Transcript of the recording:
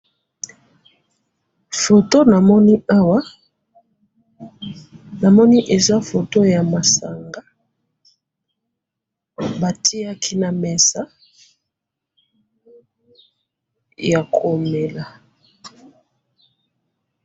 Foto namoni awa namoni eza foto ya masangi batiyaki na mesa ya komela.